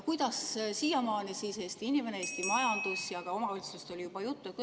Kuidas sinnamaani saavad hakkama Eesti inimene, Eesti majandus ja ka omavalitsused, kellest oli juba juttu?